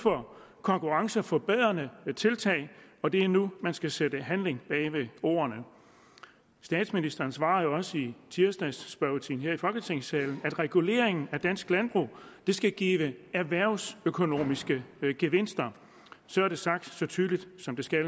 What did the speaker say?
for konkurrenceforbedrende tiltag og det er nu man skal sætte handling bag ved ordene statsministeren svarede jo også i tirsdagsspørgetiden her i folketingssalen at reguleringen af dansk landbrug skal give erhvervsøkonomiske gevinster så er det sagt så tydeligt som det skal